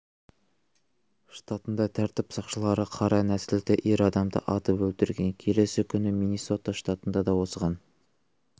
штатында тәртіп сақшылары қара нәсілді ер адамды атып өлтірген келесі күні миннесота штатында да осыған